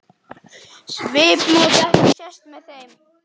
Svipmót ekki sést með þeim.